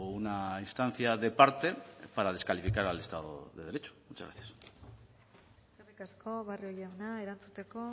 una instancia de parte para descalificar al estado de derecho muchas gracias eskerrik asko barrio jauna erantzuteko